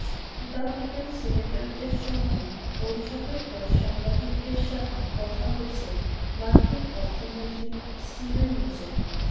Republican সিনেটরদের সঙ্গে বৈঠকের পর সাংবাদিকদের সাথে কথা বলছেন মার্কিন অর্থমন্ত্রী স্টিভেন নুচেন